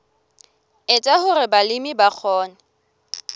etsa hore balemi ba kgone